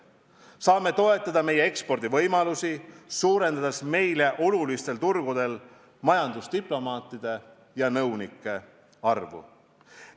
Saame toetada meie ekspordivõimalusi, suurendades meile olulistel turgudel majandusdiplomaatide ja -nõunike arvu.